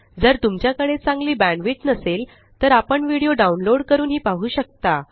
जर तुमच्याकडे चांगली बॅण्डविड्थ नसेल तर व्हिडीओ डाउनलोड करूनही पाहू शकता